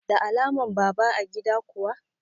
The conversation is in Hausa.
Da alaman baba a gida kuwa?